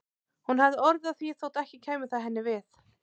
Hún hafði orð á því þótt ekki kæmi það henni við.